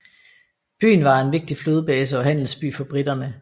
Byen var en vigtig flådebase og handelsby for briterne